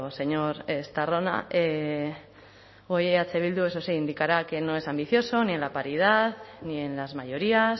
señor estarrona hoy eh bildu eso sí indicará que no es ambicioso ni en la paridad ni en las mayorías